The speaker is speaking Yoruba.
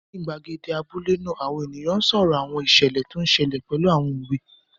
Ní gbàgede abúlé náà, àwọn èèyàn n sọ̀rọ̀ àwọn ìṣẹ̀lẹ̀ tó n ṣẹlẹ̀ pẹ̀lú àwọn òwe